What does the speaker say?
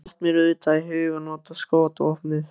Þá datt mér auðvitað í hug að nota skotvopnið.